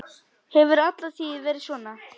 Hefur alla tíð verið svona.